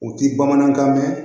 U ti bamanankan mɛn